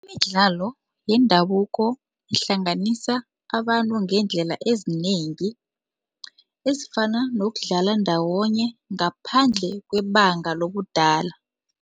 Imidlalo yendabuko ihlanganisa abantu ngeendlela ezinengi ezifana nokudlala ndawonye ngaphandle kwebanga lobudala.